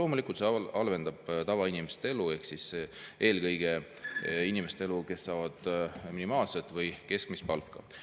Loomulikult halvendab see tavainimeste elu, eelkõige nende inimeste elu, kes saavad minimaalset või keskmist palka.